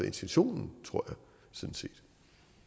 intentionen tror